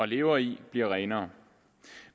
lever i bliver renere